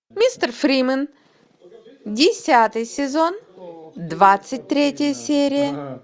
мистер фримен десятый сезон двадцать третья серия